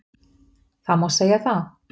Það má segja það